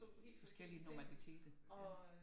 Forskellige normaliteter